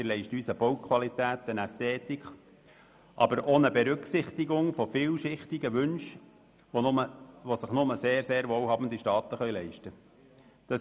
wir leisten uns eine Bauqualität, eine Ästhetik, aber auch die Berücksichtigung vielschichtiger Wünsche, die sich nur sehr wohlhabende Staaten leisten können.